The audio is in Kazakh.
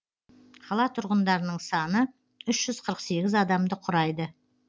қала тұрғындарының саны үш жүз қырық сегіз адамды құрайды